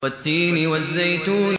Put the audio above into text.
وَالتِّينِ وَالزَّيْتُونِ